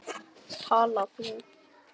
Tala þú.